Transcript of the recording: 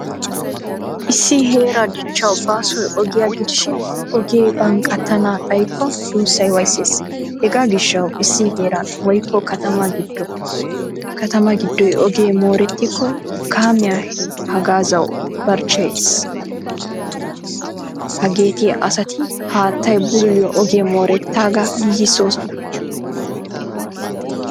Issi heeraa dichchawu baasoy ogiyaa gidishin; ogee banqqattana xayikko duussay wayssees. Hegaa gishawu issi heeran woykko kattama gidoy ogee moorettiko kaamiyaa haggaazawu barchcheyees. Hageeti asati haattaay bululiyo oge moorettaga giigisosona.